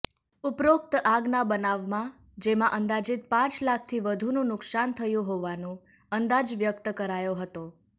ઉપરોકત આગના બનાવમાં જેમાં અંદાજિત પ લાખથી વધુનું નુકશાન થયું હોવાનું અંદાજ વ્યક્ત કરાયો હતો